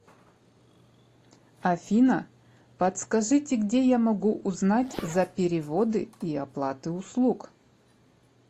афина подскажите где я могу узнать за переводы и оплаты услуг